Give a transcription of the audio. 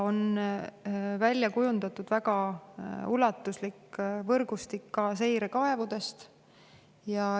On kujundatud väga ulatuslik võrgustik ka seirekaevudest.